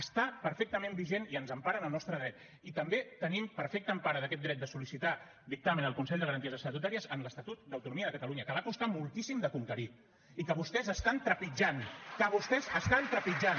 està perfectament vigent i ens empara en el nostre dret i també tenim perfecta empara d’aquest dret de sol·licitar dictamen al consell de garanties estatutàries amb l’estatut d’autonomia de catalunya que va costar moltíssim de conquerir i que vostès estan trepitjant que vostès estan trepitjant